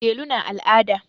Delu na al'ada.